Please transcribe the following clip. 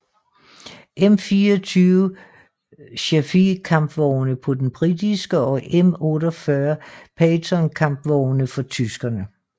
M24 Chaffee kampvogne på den britiske og M48 Patton kampvogne for tyskerne